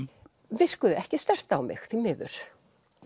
virkuðu ekki sterkt á mig því miður